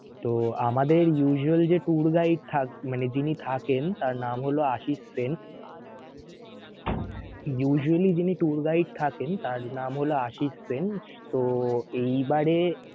তো আমাদের usual যে tour guide থাক মানে যিনি থাকেন তার নাম হলো আশিক সেন. usually যিনি tour guide থাকেন তার নাম হলো আশিক সেন. তো এইবারে